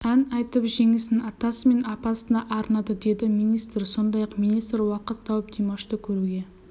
ән айтып жеңісін атасы мен апасына арнады деді министр сондай-ақ министр уақыт тауып димашты көруге